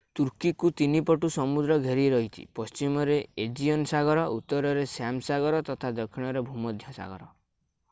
ତୁର୍କୀକୁ ତିନିପଟୁ ସମୁଦ୍ର ଘେରି ରହିଛି ପଶ୍ଚିମରେ ଏଜିଅନ୍ ସାଗର ଉତ୍ତରରେ ଶ୍ୟାମ ସାଗର ତଥା ଦକ୍ଷିଣରେ ଭୂମଧ୍ୟ ସାଗର